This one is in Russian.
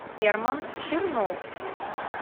герман чернов